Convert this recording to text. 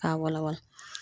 K'a walawala